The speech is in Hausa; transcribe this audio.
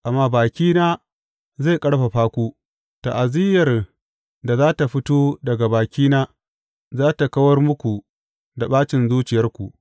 Amma bakina zai ƙarfafa ku; ta’aziyyar da za tă fito daga bakina za tă kawar muku da ɓacin zuciyarku.